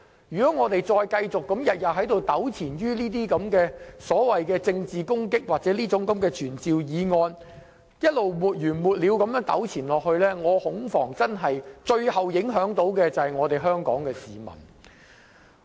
如果我們繼續每天糾纏於這些所謂政治攻擊或傳召議案，沒完沒了地糾纏下去，我恐防最後受影響的會是香港市民。